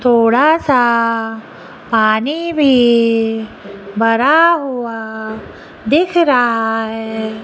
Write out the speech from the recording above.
थोड़ा सा पानी भी भरा हुआ दिख रहा है।